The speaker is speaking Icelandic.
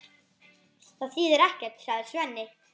Það þýðir ekkert, sagði Svenni.